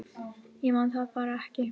Ég man það bara ekki